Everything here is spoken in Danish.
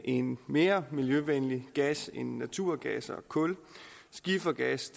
en mere miljøvenlig gas end naturgas og kul skifergas